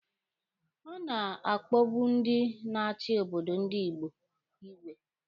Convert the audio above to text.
A na-akpọbu ndị na-achi obodo ndi Igbo igwe.